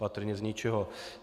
Patrně z ničeho.